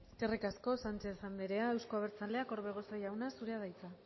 eskerrik asko sánchez anderea euzko abertzaleak orbegozo jauna zurea da hitza